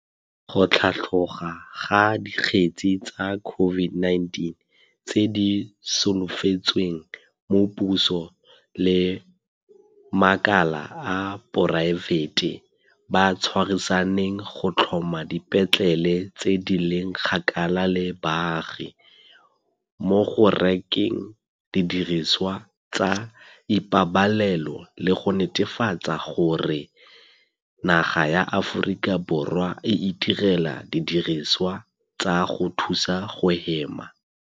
go tlhatloga ga dikgetse tsa COVID-19 tse di solofetsweng mo puso le makala a poraefete ba tshwarisaneng go tlhoma dipetlele tse di leng kgakala le baagi, mo go rekeng didirisiwa tsa ipabalelo le go netefatsa gore naga ya Aforika Borwa e itirela didirisiwa tsa go thusa go hema.